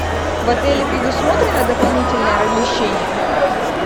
в отеле предусмотрено дополнительное размещение